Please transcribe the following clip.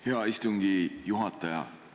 Hea istungi juhataja!